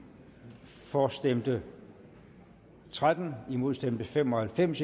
for stemte tretten imod stemte fem og halvfems